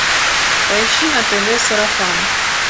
поищи на тв сарафан